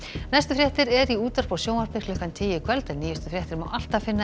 næstu fréttir eru í útvarpi og sjónvarpi klukkan tíu í kvöld en nýjustu fréttir má alltaf finna